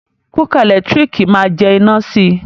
Kúkà ẹ̀lẹ́tírìkì ma jẹ iná si.